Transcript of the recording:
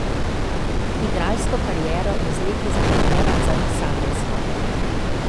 Igralsko kariero je z leti zamenjala za pisateljsko.